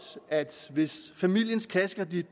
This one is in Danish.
at hvis familiens kassekredit